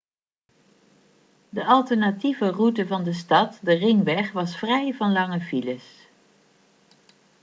de alternatieve route van de stad de ringweg was vrij van lange files